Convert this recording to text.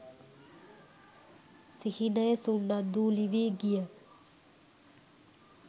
සිහිනය සුන්නද්දූවිලි වී ගිය